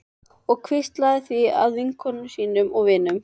Og hvíslað því að vinkonum sínum og vinum.